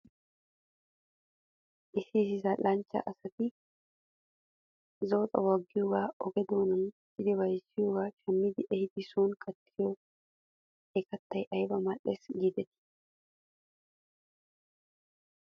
Issi issi zal'anchcha asati zo'o xaphuwaa giyoogaa oge doonan miccidi bayzziyoogaa shammi ehidi son kattiyoode he kattay ayba mal'es giidetii.